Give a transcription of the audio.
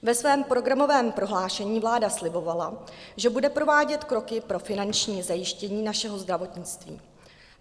Ve svém programovém prohlášení vláda slibovala, že bude provádět kroky pro finanční zajištění našeho zdravotnictví.